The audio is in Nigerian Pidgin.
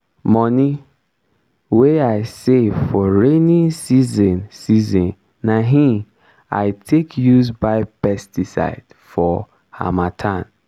moni wey i save for rainy season season na hin i take use buy pesticide for harmattan.